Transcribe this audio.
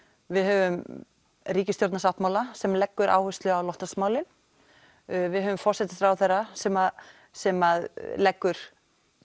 við höfum ríkisstjórnarsáttmála sem leggur áherslu á loftlagsmálin við höfum forsætisráðherra sem sem leggur